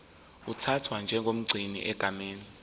uthathwa njengomgcini egameni